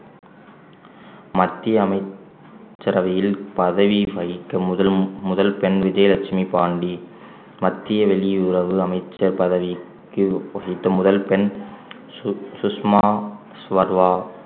மத்திய அமைச்சரவையில் பதவி வகிக்க முதல் முதல் பெண் விஜயலட்சுமி பாண்டி மத்திய வெளியுறவு அமைச்சர் பதவிக்கு வகித்த முதல் பெண் சுஷ்~ சுஷ்மா சுவர்வா